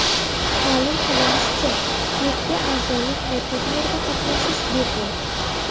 Ma’lum qilinishicha, klubga a’zolik va turnirda qatnashish bepul.